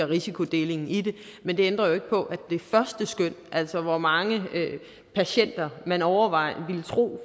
risikodeling i det men det ændrer jo ikke på at altså hvor mange patienter man overvejende vil tro